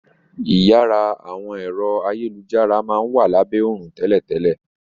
Iyàrá àwọn ẹ̀rọ ayélujára máa n wa labẹ òrùn tẹ́lẹ̀tẹ́lẹ̀.